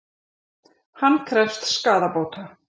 Hann krefst skaðabóta